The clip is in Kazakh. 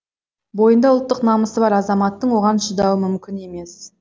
бойында ұлттық намысы бар азаматтың оған шыдауы мүмкін емес